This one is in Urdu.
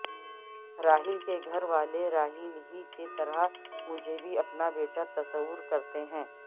راحیل کے گھر والے راحیل ہی کی طرح مجھے بھی اپنا بیٹا تصور کرتے ہیں